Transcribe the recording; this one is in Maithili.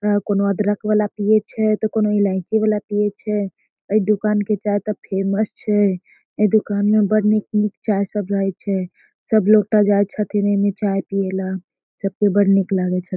अ कोनो अदरक वाला पिये छै ते कोनो इलाइची वाला पिये छै | एय दुकान के चाय ते फेमस छै | ऐय दुकान में बड़ी निक-निक चाय सब रहय छै | सब लोग ते जाय छथीन एमे चाय पिये ला | सब के बड़ निक लागय छै।